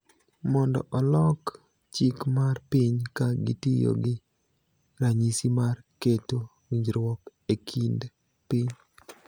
mondo olok chik mar piny ka gitiyo gi ranyisi mar keto winjruok e kind piny.